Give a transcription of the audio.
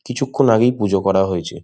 কিছুক্ষণ আগেই পূজো করা হয়েছে।